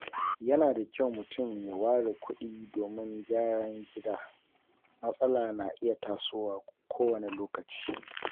Yana da kyau mutum ya ware kuɗi domin gyaran gida, matsala na iya tasowa kowane lokaci.